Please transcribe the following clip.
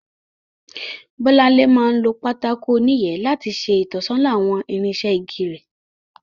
Bọ́láńlé máa ń lo pátákó oníyẹ̀ẹ́ láti ṣe ìtọ́sọ́nà àwọn irinṣẹ́ igi rẹ̀